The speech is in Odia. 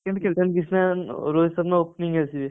କିନ୍ତୁ କିଶାନକିଶାନ, ରୋହିତ ଶର୍ମା opening କୁ ଆସିବେ।